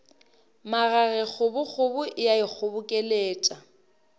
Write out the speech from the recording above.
magage kgobokgobo e a ikgobokeletša